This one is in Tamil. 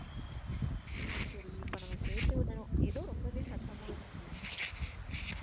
சரி இப்ப நம்ம சேத்து விடுரோம். ஏதோ ரொம்பவே சத்தமா இருக்கு.